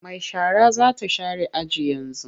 Mai shara za ta share aji yanzu.